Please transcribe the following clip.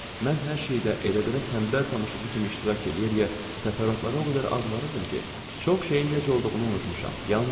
Mən hər şeyi də elə-belə tənbəl tamaşaçı kimi iştirak eləyə-eləyə təfərrüatlara o qədər az varırdım ki, çox şeyin necə olduğunu unutmuşam.